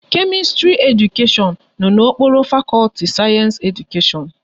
Kemistri Edukashion no n'okpuru fakọlti Sayensi Edukashion